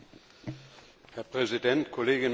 Herr Präsident, Kolleginnen und Kollegen!